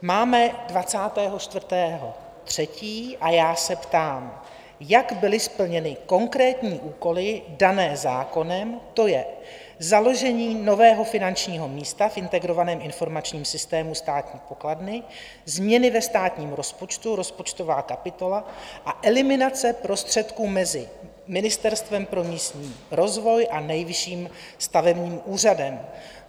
Máme 24. 3. a já se ptám, jak byly splněny konkrétní úkoly dané zákonem, to je založení nového finančního místa v integrovaném informačním systému státní pokladny, změny ve státním rozpočtu, rozpočtová kapitola a eliminace prostředků mezi Ministerstvem pro místní rozvoj a Nejvyšším stavebním úřadem.